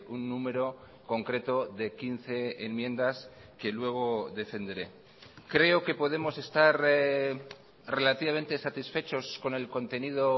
un número concreto de quince enmiendas que luego defenderé creo que podemos estar relativamente satisfechos con el contenido